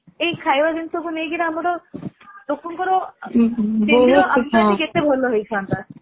ଏଇ ଖାଇବା ଜିନିଷକୁ ନେଇ ଆମର ଲୋକଙ୍କର କେତେ ଭଲ ହେଇ ଥାନ୍ତା